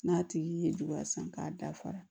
N'a tigi ye juguya san k'a dafara